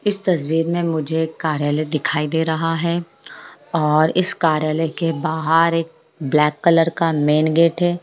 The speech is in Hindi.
इस तस्वीर में मुझे एक कार्यालय दिखाई दे रहा है और इस कार्यालय के बाहर एक ब्लैक कलर का एक मैन गेट है।